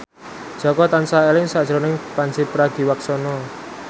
Jaka tansah eling sakjroning Pandji Pragiwaksono